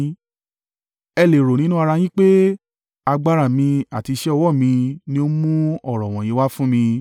Ẹ lè rò nínú ara yín pé, “Agbára mi àti iṣẹ́ ọwọ́ mi ni ó mú ọ̀rọ̀ wọ̀nyí wá fún mi.”